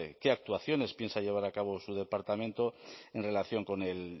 qué actuaciones piensa llevar a cabo su departamento en relación con el